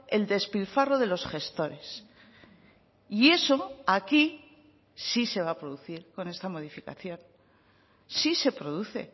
el despilfarro de los gestores y eso aquí sí se va a producir con esta modificación sí se produce